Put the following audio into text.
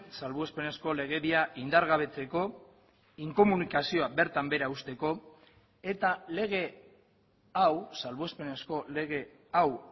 salbuespenezko legedia indargabetzeko inkomunikazioa bertan behera uzteko eta lege hau salbuespenezko lege hau